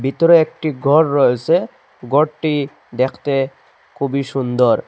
ভিতরে একটি গর রয়েছে ঘরটি দেখতে খুবই সুন্দর।